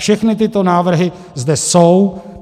Všechny tyto návrhy zde jsou.